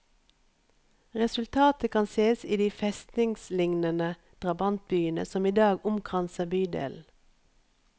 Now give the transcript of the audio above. Resultatet kan ses i de festningslignende drabantbyene som i dag omkranser bydelen.